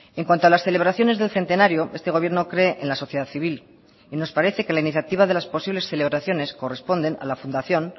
en cuanto a las celebraciones del centenario este gobierno cree en la sociedad civil y nos parece que la iniciativa de las posibles celebraciones corresponden a la fundación